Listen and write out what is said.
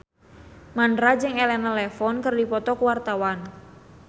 Mandra jeung Elena Levon keur dipoto ku wartawan